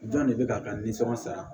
Jɔn de bɛ k'a ka nisɔnjaara